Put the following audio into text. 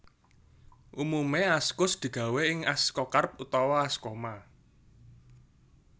Umume askus digawé ing askokarp utawa askoma